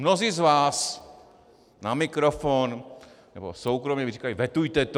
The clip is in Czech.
Mnozí z vás na mikrofon nebo soukromě mi říkali: Vetujte to.